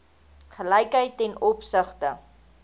gelykheid ten opsigte